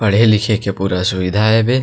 पढ़े लिखे के पूरा सुबिधा हेबे।